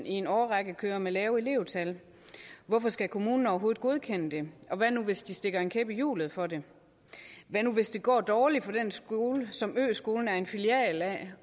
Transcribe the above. i en årrække kører med lave elevtal hvorfor skal kommunen overhovedet godkende det og hvad nu hvis de stikker en kæp i hjulet for det hvad nu hvis det går dårligt for den skole som øskolen er en filial af